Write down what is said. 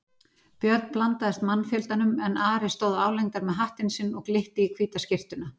Björn blandaðist mannfjöldanum en Ari stóð álengdar með hattinn sinn og glitti í hvíta skyrtuna.